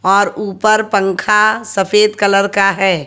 और ऊपर पंखा सफेद कलर का है।